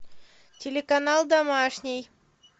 телеканал домашний